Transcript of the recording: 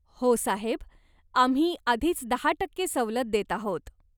हो साहेब. आम्ही आधीच दहा टक्के सवलत देत आहोत.